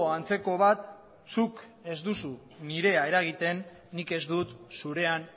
antzeko bat zuk ez duzu nirea eragiten nik ez dut zurean